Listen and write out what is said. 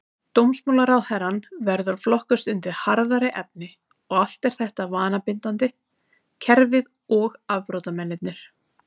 Dómsmálaráðherrann verður að flokkast undir harðari efni, og allt er þetta vanabindandi, kerfið og afbrotamennirnir.